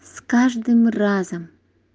с каждым разом